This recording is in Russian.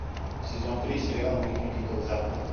сезон три сериала мир дикого запада